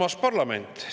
Armas parlament!